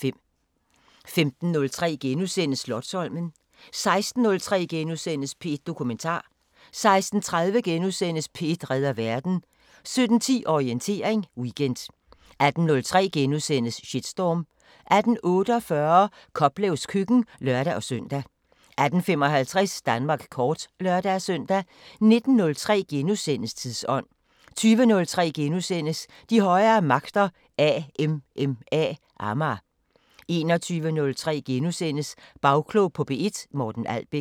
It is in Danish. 15:03: Slotsholmen * 16:03: P1 Dokumentar * 16:30: P1 redder verden * 17:10: Orientering Weekend 18:03: Shitstorm * 18:48: Koplevs køkken (lør-søn) 18:55: Danmark kort (lør-søn) 19:03: Tidsånd * 20:03: De højere magter: AMMA * 21:03: Bagklog på P1: Morten Albæk *